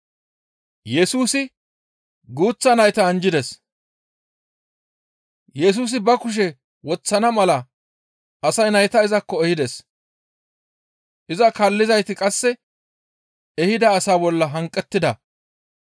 Yesusi ba kushe woththana mala asay nayta izakko ehides. Iza kaallizayti qasse ehida asaa bolla hanqettida.